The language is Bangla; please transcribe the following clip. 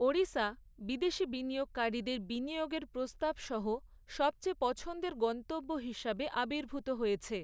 ওড়িশা বিদেশী বিনিয়োগকারীদের বিনিয়োগের প্রস্তাব সহ সবচেয়ে পছন্দের গন্তব্য হিসাবে আবির্ভূত হয়েছে।